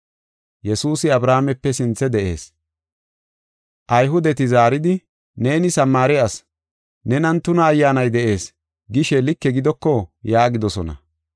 Ayhudeti zaaridi, “ ‘Neeni Samaare asi; nenan tuna ayyaanay de7ees’ gishe like gidoko?” yaagidosona.